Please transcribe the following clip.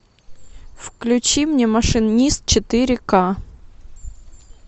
включи мне машинист четыре ка